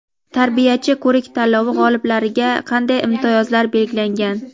"Tarbiyachi" ko‘rik-tanlovi g‘oliblariga qanday imtiyozlar belgilangan?.